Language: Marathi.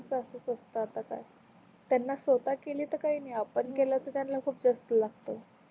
तसच असते आता त्यात, त्यांना स्वता केल काही नाही आपण त्याल अस पटकन लागते